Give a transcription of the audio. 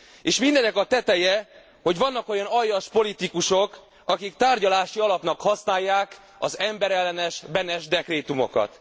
És mindennek a teteje, hogy vannak olyan aljas politikusok, akik tárgyalási alapnak használják az emberellenes Beneš dekrétumokat.